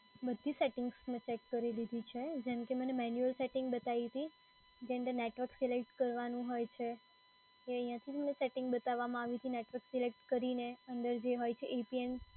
બધી સેટિંગ્સ મેં ચેક કરી લીધી છે. જેમ કે મને મેન્યુઅલ સેટિંગ બતાઈ હતી. જેની અંદર નેટવર્ક સિલેક્ટ કરવાનું હોય છે, એ અહિંયાથી મને સેટિંગ બતાવામાં આવ્યુતું. નેટવર્ક સિલેક્ટ કરીને અંદર જે હોય છે APN.